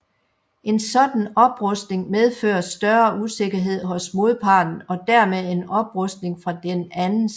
En sådan oprustning medfører større usikkerhed hos modparten og dermed en oprustning fra den anden side